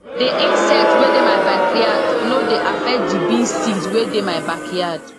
the insect wey dey my backyard no dey affect the bean seeds wey dey my backyard